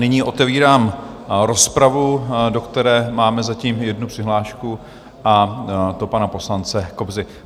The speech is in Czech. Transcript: Nyní otevírám rozpravu, do které máme zatím jednu přihlášku, a to pana poslance Kobzy.